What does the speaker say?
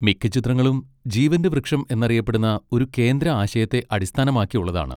മിക്ക ചിത്രങ്ങളും 'ജീവന്റെ വൃക്ഷം' എന്നറിയപ്പെടുന്ന ഒരു കേന്ദ്ര ആശയത്തെ അടിസ്ഥാനമാക്കിയുള്ളതാണ്.